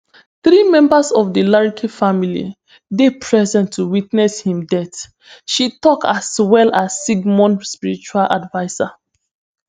three members of di larke family dey present to witness im death she tok as well as sigmon spiritual adviser